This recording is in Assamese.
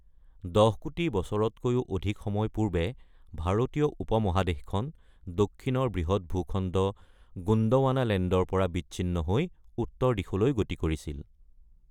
১০ কোটি বছৰতকৈও অধিক সময় পূৰ্বে, ভাৰতীয় উপ-মহাদেশখন দক্ষিণৰ বৃহৎ ভূখণ্ড গোণ্ডৱানালেণ্ডৰ পৰা বিচ্ছিন্ন হৈ উত্তৰ দিশলৈ গতি কৰিছিল।